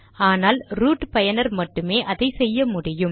ஆனால் ரூட் பயனர் மட்டுமே அதை செய்ய முடியும்